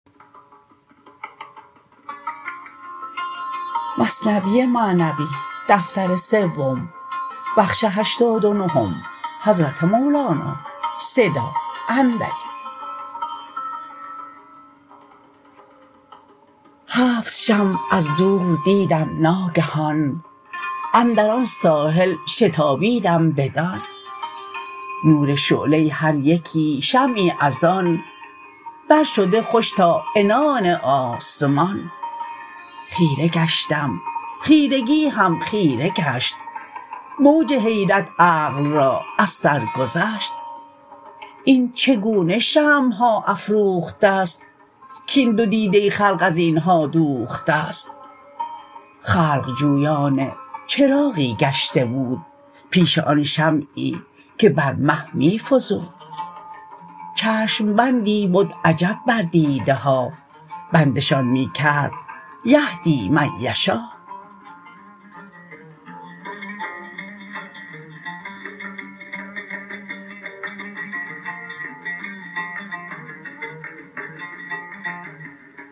هفت شمع از دور دیدم ناگهان اندر آن ساحل شتابیدم بدان نور شعله هر یکی شمعی از آن بر شده خوش تا عنان آسمان خیره گشتم خیرگی هم خیره گشت موج حیرت عقل را از سر گذشت این چگونه شمعها افروخته ست کین دو دیده خلق ازینها دوخته ست خلق جویان چراغی گشته بود پیش آن شمعی که بر مه می فزود چشم بندی بد عجب بر دیده ها بندشان می کرد یهدی من یشا